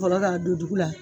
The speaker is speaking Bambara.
Bɔrɔ la, a don dugu la.